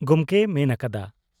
ᱜᱚᱢᱠᱮᱭ ᱢᱮᱱ ᱟᱠᱟᱫᱼᱟ ᱾